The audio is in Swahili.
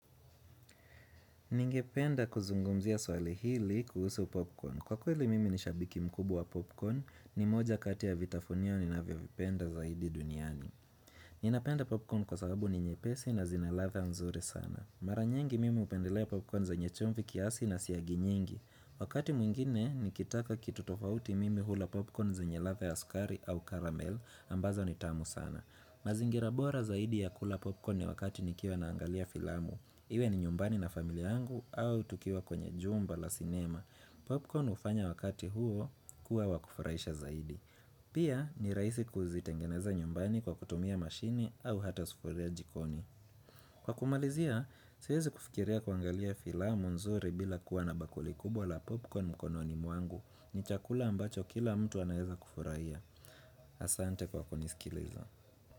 Ningependa kuzungumzia swali hili kuhusu popcorn. Kwa kweli mimi ni shabiki mkubwa wa popcorn, ni moja kati ya vitafunio ninavyovipenda zaidi duniani. Ninapenda popcorn kwa sababu ni nyepesi na zina ladha nzuri sana. Mara nyingi mimi hupendelea popcorn zenye chumvi kiasi na siagi nyingi. Wakati mwingine nikitaka kitu tofauti mimi hula popcorn zenya ladha ya sukari au karamel ambazo ni tamu sana. Mazingira bora zaidi ya kula popcorn ni wakati nikiwa naangalia filamu. Iwe ni nyumbani na familia yangu au tukiwa kwenye jumba la sinema. Popcorn hufanya wakati huo kuwa wakufurahisha zaidi Pia ni rahisi kuzitengeneza nyumbani kwa kutumia mashini au hata sufuria jikoni. Kwa kumalizia, siwezi kufikiria kuangalia filamu nzuri bila kuwa na bakuli kubwa la popcorn mkononi mwangu. Ni chakula ambacho kila mtu anaweza kufurahia. Asante kwa kunisikiliza.